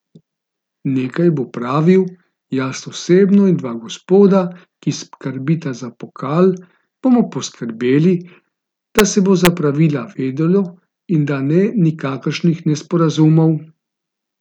Nekaj bo pravil, jaz osebno in dva gospoda, ki skrbita za pokal, bomo poskrbeli, da se bo za pravila vedelo in da ne nikakršnih nesporazumov.